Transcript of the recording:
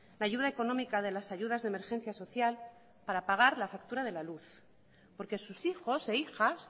la ayuda económica de las ayudas de emergencia social para pagar la factura de la luz porque sus hijos e hijas